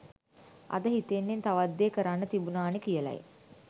අද හිතෙන්නෙ තවත් දේ කරන්න තිබුණානෙ කියලයි